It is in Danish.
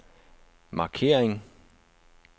markering